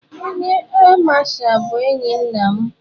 Onye áà Masha bụ enyi nna m.